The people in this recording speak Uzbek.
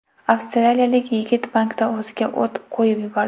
Avstraliyalik yigit bankda o‘ziga o‘t qo‘yib yubordi.